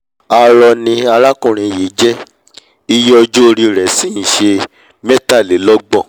arọ ni alákùnrin yìí jẹ́ iye ọjọ́ orí i rẹ̀ sì nṣe mẹ́tàlélọ́gbọ̀n